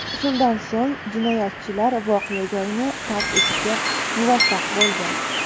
Shundan so‘ng jinoyatchilar voqea joyini tark etishga muvaffaq bo‘lgan.